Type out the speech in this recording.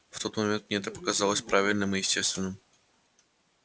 в тот момент мне это показалось правильным и естественным